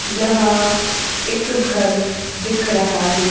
यहां एक घर दिख रहा है।